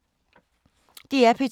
DR P2